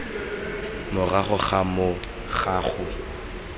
morago ga moo ga go